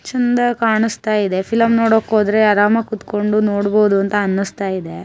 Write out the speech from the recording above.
ಚಂದ ಕಾಣಸ್ತಾ ಇದೆ ಫಿಲಂ ನೋಡೋಕೆ ಹೋದ್ರೆ ಆರಾಮಾಗ್ ಕುತ್ಕೊಂಡ್ ನೋಡ್ಬೋದು ಅಂತ ಅನ್ನಿಸ್ತಾ ಇದೆ.